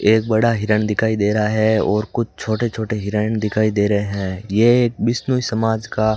एक बड़ा हिरण दिखाई दे रहा है और कुछ छोटे छोटे हिरण दिखाई दे रहे हैं ये एक बिश्नोई समाज का --